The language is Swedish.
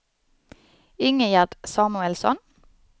Ingegerd Samuelsson